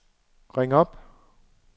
ring op